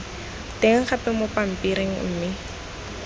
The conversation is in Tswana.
teng gape mo pampiring mme